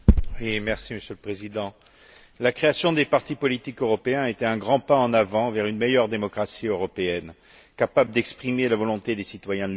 Monsieur le Président, la création des partis politiques européens a été un grand pas en avant vers une meilleure démocratie européenne, capable d'exprimer la volonté des citoyens de l'Union.